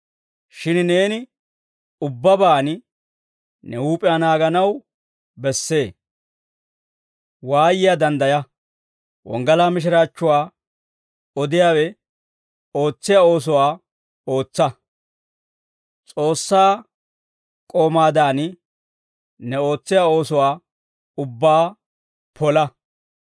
Shin neeni ubbabaan ne huup'iyaa naaganaw bessee. Waayiyaa danddaya. Wonggalaa mishiraachchuwaa odiyaawe ootsiyaa oosuwaa ootsa. S'oossaa k'oomaadan, ne ootsiyaa oosuwaa ubbaa pola.